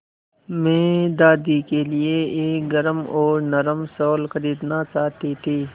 मैं दादी के लिए एक गरम और नरम शाल खरीदना चाहती थी